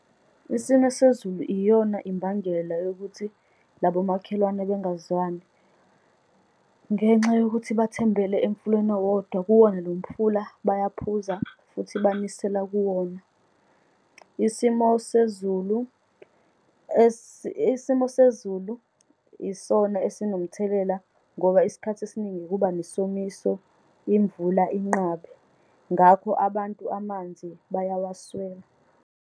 Isimo sezulu iyona imbangela yokuthi labomakhelwane bengazwani, ngenxa yokuthi bathembele emfuleni owodwa. Kuwona lo mfula bayaphuza, futhi banisela kuwona. Isimo sezulu simo sezulu isona esinomthelela ngoba isikhathi esiningi kuba nesomiso, imvula inqabe. Ngakho, abantu amanzi bayawaswela.